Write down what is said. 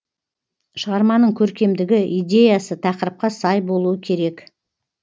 шығарманың көркемдігі идеясы тақырыпқа сай болуы керек